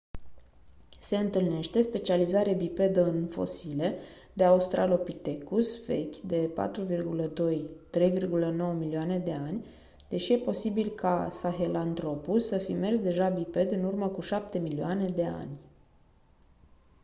se întâlnește specializare bipedă în fosile de australopithecus vechi de 4,2-3,9 milioane de ani deși e posibil ca sahelanthropus să fi mers deja biped în urmă cu șapte milioane de ani